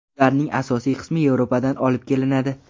Ularning asosiy qismi Yevropadan olib kelinadi.